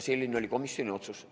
Selline oli komisjoni otsus.